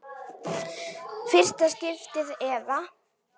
Fyrsta skiptið eða?